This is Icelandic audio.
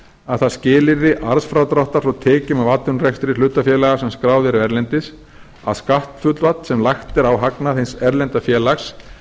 að það skilyrði arðsfrádráttar frá tekjum af atvinnurekstri hlutafélaga sem skráð eru erlendis að skatthlutfall sem lagt er á hagnað hins erlenda félags